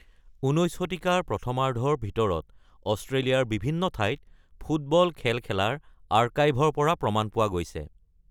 ১৯ শতিকাৰ প্ৰথমাৰ্ধৰ ভিতৰত অষ্ট্ৰেলিয়াৰ বিভিন্ন ঠাইত ‘ফুট-বল’ খেল খেলাৰ আৰ্কাইভৰ পৰা প্ৰমাণ পোৱা গৈছে।